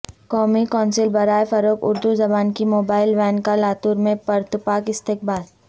قومی کونسل برائے فروغ اردو زبان کی موبائل وین کا لاتور میں پرتپاک استقبال